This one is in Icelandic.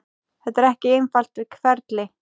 Þetta er ekki einfalt ferli.